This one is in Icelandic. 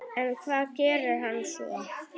En hvað gerir hann svo?